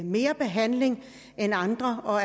mere behandling end andre og